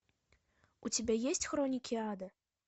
у тебя есть хроники ада